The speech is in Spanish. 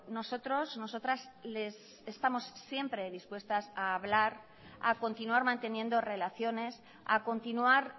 nosotros nosotras estamos siempre dispuestas a hablar a continuar manteniendo relaciones a continuar